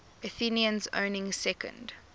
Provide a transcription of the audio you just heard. athenians owning second